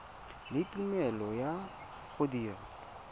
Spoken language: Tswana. le tumelelo ya go dira